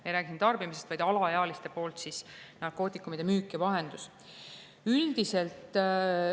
Me ei räägi tarbimisest, vaid alaealiste poolt narkootikumide müügist ja vahendusest.